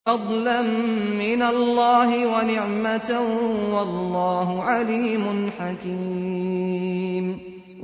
فَضْلًا مِّنَ اللَّهِ وَنِعْمَةً ۚ وَاللَّهُ عَلِيمٌ حَكِيمٌ